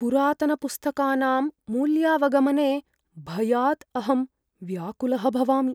पुरातनपुस्तकानां मूल्यावगमने भयात् अहं व्याकुलः भवामि।